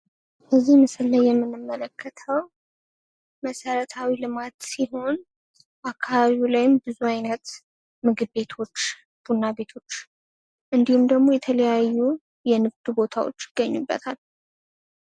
እዚህ ምስል ላይ የምንመለከተው መሰረታዊ ልማት ሲሆን አከባቢው ላይም ብዙ አይነት ምግብ ቤቶች ፥ ቡና ቤቶች ፥ እንዲሁም ደሞ የተለያዩ የንግድ ቦታዎች ይገኙበታል።